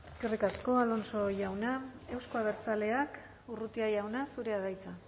eskerrik asko alonso jauna euzko abertzaleak urrutia jauna zurea da hitza